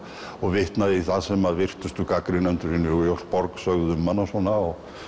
og vitnað í það sem virtustu gagnrýnendur í New York sögðu um hana og svona